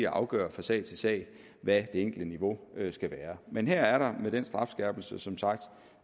afgøre fra sag til sag hvad det enkelte niveau skal være men her er der med den strafskærpelse som sagt